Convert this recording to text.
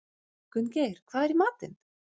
Gunngeir, hvað er í matinn?